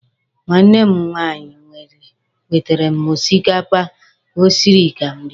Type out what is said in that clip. Nwanne m nwaanyị wetere m osikapa o siri ka m rie.